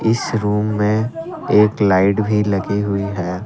इस रूम में एक लाइट भी लगी हुई है।